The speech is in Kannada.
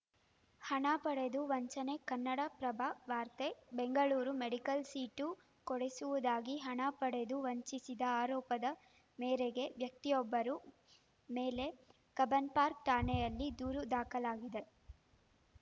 ಹಣ ಪಡೆದು ವಂಚನೆ ಕನ್ನಡಪ್ರಭ ವಾರ್ತೆ ಬೆಂಗಳೂರು ಮೆಡಿಕಲ್‌ ಸೀಟು ಕೊಡಿಸುವುದಾಗಿ ಹಣ ಪಡೆದು ವಂಚಿಸಿದ ಆರೋಪದ ಮೇರೆಗೆ ವ್ಯಕ್ತಿಯೊಬ್ಬರು ಮೇಲೆ ಕಬ್ಬನ್‌ಪಾರ್ಕ್ ಠಾಣೆಯಲ್ಲಿ ದೂರು ದಾಖಲಾಗಿದೆ